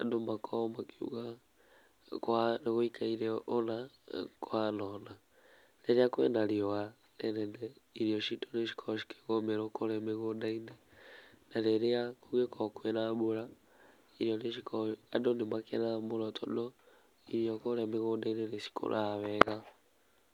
andũ makorwo makiuga, nĩ kũha, nĩ gwĩikaire ũna, na nĩ kũhana ũna, rĩrĩa kwĩna riuwa rĩnene, irio citũ nĩ cikoragwo cikĩgũmĩrwo kũrĩa mĩgũnda - inĩ na rĩrĩa kũngĩkorwo kwĩna mbura, irio nĩ cikoragwo, andũ nĩ makenaga mũno tondũ irio kũrĩa mĩgũndainĩ nĩ cikũraga wega.